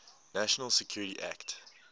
national security act